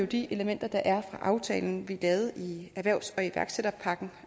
de elementer der er aftalen vi lavede i erhvervs og iværksætterpakken